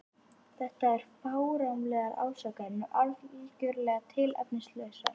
Þetta eru fáránlegar ásakanir og algjörlega tilefnislausar.